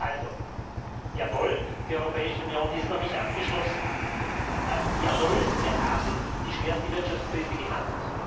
Also Jawohl, die Europäische Union ist noch nicht abgeschlossen. Jawohl, wir haben die schwerste Wirtschaftskrise gehabt.